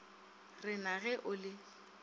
re na ge o le